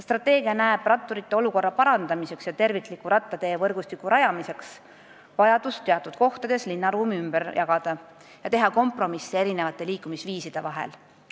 Strateegia näeb ratturite olukorra parandamiseks ja tervikliku rattateevõrgustiku rajamiseks vajadust teatud kohtades linnaruum ümber jagada ja teha kompromisse erinevate liikumisviiside puhul.